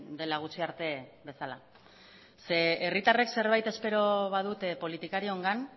dela gutxi arte bezala ze herritarrek zerbait espero badute politikariongan